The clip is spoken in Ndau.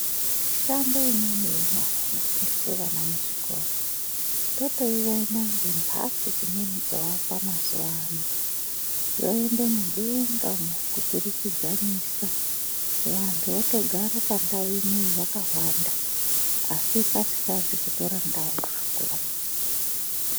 Mishando imweni yenyara inofundiswe vana muzvikora ,totoiona ngemphatso dzimweni dzoakwa mazuwaano, dzoende mudenga umo kuturikidzanisa. Vantu votogare pandau imweyo vakawanda, asi pasikazi kutora ndau yakakura maningi.